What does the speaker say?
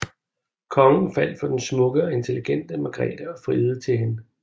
Kongen faldt for den smukke og intelligente Margrethe og friede til hende